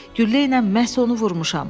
Güllə ilə məhz onu vurmuşam.